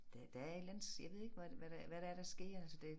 Der der er et eller andet jeg ved ikke hvad hvad det hvad det er der sker altså det